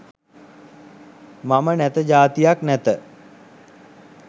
මම නැත ජාතියක් නැත